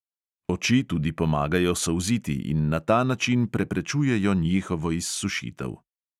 Oči tudi pomagajo solziti in na ta način preprečujejo njihovo izsušitev.